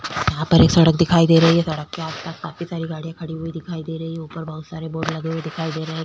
यहाँ पर एक सड़क दिखाई दे रही है सड़क के आस-पास काफी सारी गाड़ी खड़ी हुई दिखाई दे रही है ऊपर बहोत सारे बोर्ड लगे हुए दिखाई दे रहें हैं।